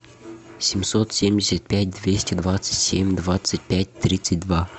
семьсот семьдесят пять двести двадцать семь двадцать пять тридцать два